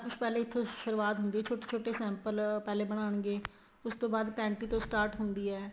ਕੁੱਛ ਇੱਥੋ ਸੁਰੂਆਤ ਹੁੰਦੀ ਏ ਕੁੱਛ ਛੋਟੇ ਛੋਟੇ sample ਪਹਿਲੇ ਬਣਾਗੇ ਉਸ ਤੋ panty ਤੋ start ਹੁੰਦੀ ਏ